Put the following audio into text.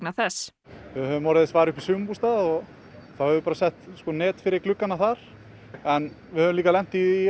þess við höfum orðið þess var upp í sumarbústað og þá höfum við sett net fyrir gluggana þar en við höfum lent í